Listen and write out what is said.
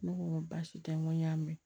Ne ko n ko baasi tɛ n ko n y'a mɛn